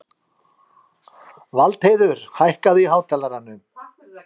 Valdheiður, hækkaðu í hátalaranum.